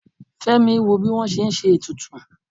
femi wọ bi wọn se n se etùtù